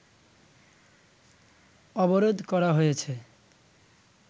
অবরোধ করা হয়েছে